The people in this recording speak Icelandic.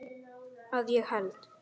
Að ég held.